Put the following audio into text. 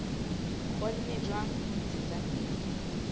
kgonne jwang ho ntshetsa pele